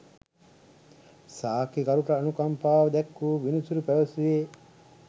සාක්කිකරුට අනුකම්පාව දැක්වූ විනිසුරු පැවසුවේ